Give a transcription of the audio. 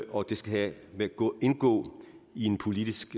og det skal indgå indgå i en politisk